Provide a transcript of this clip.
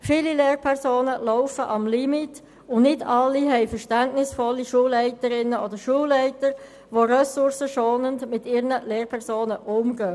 Viele Lehrpersonen laufen am Limit, und nicht alle haben verständnisvolle Schulleiterinnen und Schulleiter, die ressourcenschonend mit ihrem Lehrpersonal umgehen.